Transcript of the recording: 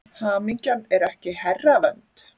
Hamingjan er ekki herravönd.